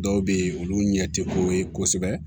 Dɔw bɛ yen olu ɲɛ tɛ ko ye kosɛbɛ